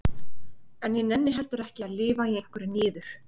En ég nenni heldur ekki að lifa í einhverri niður